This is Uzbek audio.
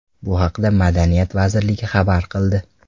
Bu haqda Madaniyat vazirligi xabar qildi .